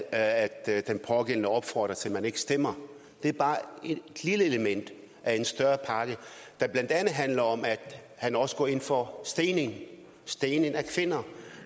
at den pågældende opfordrer til at man ikke stemmer det er bare et lille element af en større pakke der blandt andet handler om at han også går ind for stening af stening af kvinder